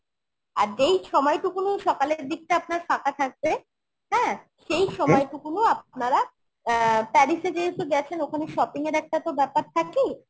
আর যেই সময়টুকুনি সকালের দিকটা আপনার ফাঁকা থাকবে হ্যাঁ সেই সময়টুকুনিও আপনারা অ্যাঁ Paris এ যেহেতু গেছেন ওখানে shopping এর একটা তো ব্যাপার থাকেই